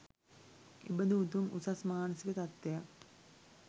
එබඳු උතුම් උසස් මානසික තත්ත්වයක්